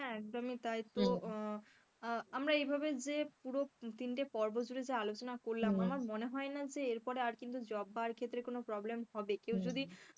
একদমই তাই তো আমরা এভাবে যে পুরো তিনটে পর্বতে জুড়ে যে আলোচনা করলাম আমার মনে হয় না যে এরপরে আর কিন্তু job পাওয়ার ক্ষেত্রে কোন problem হবে কেউ যদি,